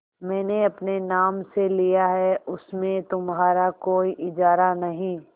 मैंने अपने नाम से लिया है उसमें तुम्हारा कोई इजारा नहीं